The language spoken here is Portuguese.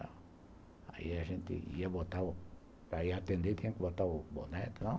Aí a gente ia botar o... Para ir atender tinha que botar o boné, tal